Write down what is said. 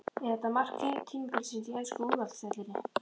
Er þetta mark tímabilsins í ensku úrvalsdeildinni?